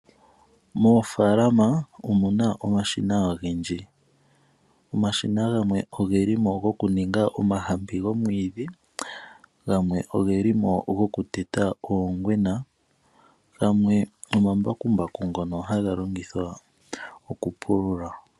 Moofalama omuna omashina ogendji. Omashina gamwe ogelimo goku ninga omahampi gomwiidhi ,gamwe ogelimo goku teta oongwena ,gamwe omambakumbaku ngono haga longithwa oku pulula.